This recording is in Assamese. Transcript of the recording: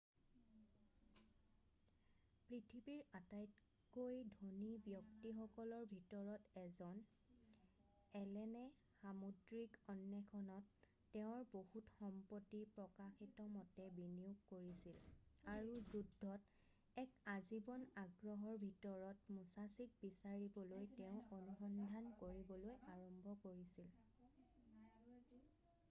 পৃথিৱীৰ আটাইতকৈ ধনী ব্যক্তিসকলৰ ভিতৰত এজন এলেনে সামুদ্ৰিক অন্বেষণত তেওঁৰ বহুত সম্পত্তি প্ৰকাশিতমতে বিনিয়োগ কৰিছিল আৰু যুদ্ধত এক আজীৱন আগ্ৰহৰ ভিতৰত মুছাছিক বিচাৰিবলৈ তেওঁ অনুসন্ধান কৰিবলৈ আৰম্ভ কৰিছিল৷